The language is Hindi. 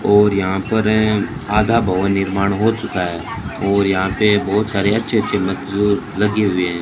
और यहां पर है आधा भवन निर्माण हो चुका है और यहां पे बहोत सारे अच्छे अच्छे मजदूर लगे हुए है।